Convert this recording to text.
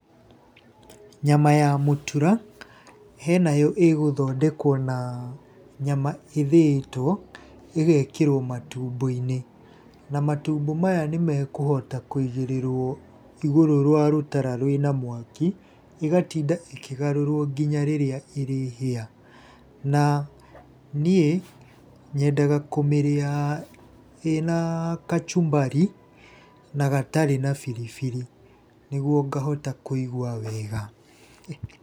Nyama ya mũtura, henayo ĩgũthondekwo na nyama ĩthĩĩtwo, ĩgekĩrwo matumbo-inĩ. Na matumbo maya nĩmekũhota kũigĩrĩrwo igũrũ rwa rũtara rwĩna mwaki ĩgatinda ĩkĩgarũrwo ngina hĩndĩ ĩrĩa ĩrĩhĩa. Na niĩ nyendaga kũmĩrĩa ĩna kachumbari na gatarĩ na biribiri niguo ngahota kũigua wega.